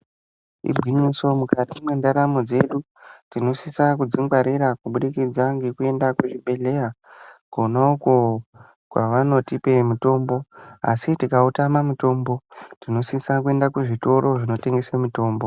Igwinyiso mukati mwendaramo dzedu tinosise kudzingwarira kubudikidzq ngekuenda kuchibhedhleya konauko kwavanotipe mitombo asi tikautama tinosise kuenda kuzvitoro zvinotengesa mitombo.